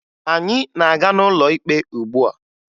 Anyị na-aga n'ụlọ ikpe ugbua